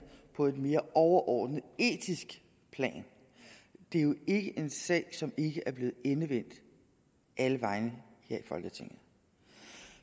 på et mere overordnet etisk plan det er jo ikke en sag som ikke er blevet endevendt alle vegne her i folketinget